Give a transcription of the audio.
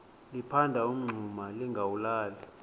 liphanda umngxuma lingawulali